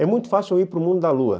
É muito fácil eu ir para o mundo da Lua.